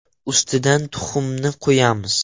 Ustidan tuxumni qo‘yamiz.